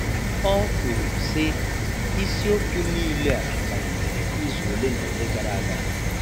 Ọ kwuru, sị: ‘Isi okwu niile a malitere izu ole na ole gara aga.’